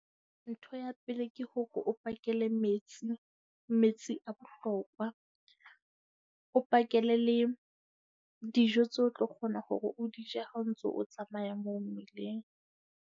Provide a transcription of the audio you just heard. Ntho ya pele ke hore o pakele metsi, metsi a bohlokwa. O pakele le dijo tseo o tlo kgona hore o di je ha o ntso o tsamaya moo mmileng.